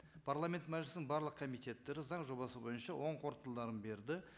парламент мәжілісінің барлық комитеттері заң жобасы бойынша оң қорытындыларын берді